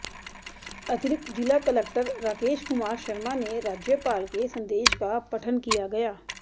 अतिरिक्त जिला कलक्टर राकेश कुमार शर्मा ने राज्यपाल के संदेश का पठन किया गया